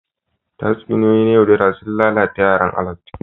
Tatsuniyoyi na yaudara suna lalata yaran Alot